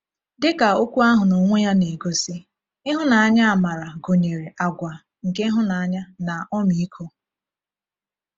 Dị ka okwu ahụ n’onwe ya na-egosi, ịhụnanya-amara gụnyere àgwà nke ịhụnanya na ọmịiko.